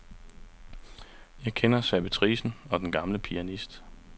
Jeg kender servitricen og den gamle pianist.